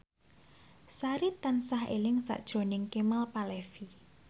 Sari tansah eling sakjroning Kemal Palevi